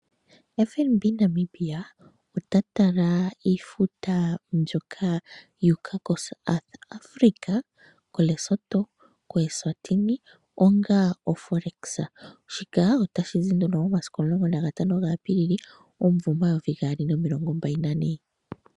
FNB Namibia ota tala iifuta mbyoka yu uka koSouth Africa, Lesotho, Eswatini onga oForex. Shika otashi zi momasiku 15 Apilili 2024.